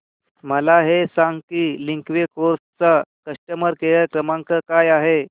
मला हे सांग की लिंकवे कार्स चा कस्टमर केअर क्रमांक काय आहे